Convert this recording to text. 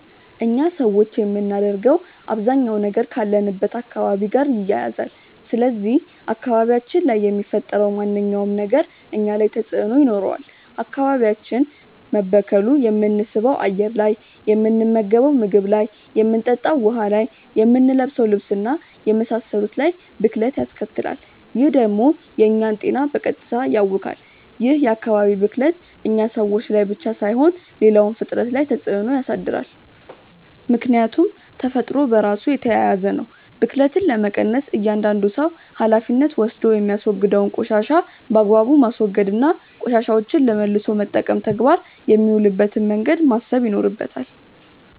እኛ ሰዎች የምናደርገው አባዛኛው ነገር ካለንበት አካባቢ ጋር ይያያዛል። ስለዚህ አካባቢያችን ላይ የሚፈጠረው ማንኛውም ነገር እኛ ላይ ተጽእኖ ይኖረዋል። አካባቢያችን መበከሉ የምንስበው አየር ላይ፣ የምንመገንው ምግብ ላይ፣ የምንጠጣው ውሀ ላይ፣ የምንለብሰው ልብስ እና የመሳሰሉት ላይ ብክለት ያስከትላል። ይህ ደግሞ የእኛን ጤና በቀጥታ ያውካል። ይህ የአካባቢ ብክለት እኛ ሰዎች ላይ ብቻ ሳይሆን ሌላውም ፍጥረት ላይ ተፅእኖ ያሳድራል። ምክያቱም ተፈጥሮ በራሱ የተያያዘ ነው። ብክለትን ለመቀነስ እያዳንዱ ሰው ሀላፊነት ወስዶ የሚያወግደውን ቆሻሻ በአግባቡ ማስወገድ እና ቆሻሻዎችን ለመልሶ መጠቀም ተግባር የሚውልበትን መንገድ ማሰብ ይኖርበታል።